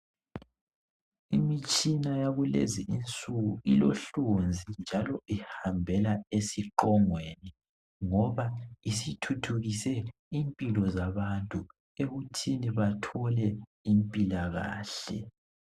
Imitshina yakulezinsuku ilohlonzi njalo ihambela esiqongweni ngoba isithuthukise impilo zabantu ekuthini bathole impilakahle